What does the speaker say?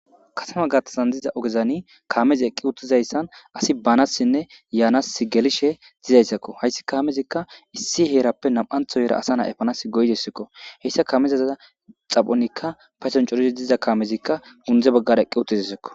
kasama gattazan diza ogezani kaamezi eqqi utizayssan asi baanassinne yaanas gelishe zizayssakko hayssi kaamezikka issi heerappe nam7antho yeera asa na e panas goydessikko heyssa kaamezaza xaphonikka faysan corizi diza kaamezikka gundze baggara eqqi utizasiko